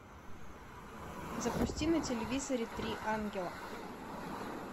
запусти на телевизоре три ангела